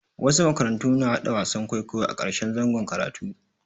Wasu makarantu na haɗa wasan kwaikwayo a ƙarshen zangon karatu.